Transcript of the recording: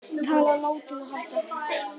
Tala látinna hækkar